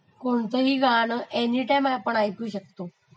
कोणतही गाणं आपणं एनीटाइम ऐकू शकतो.